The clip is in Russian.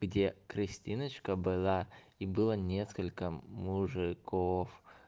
где кристиночка была и было несколько мужиков